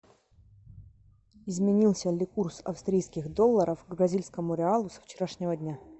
изменился ли курс австрийских долларов к бразильскому реалу со вчерашнего дня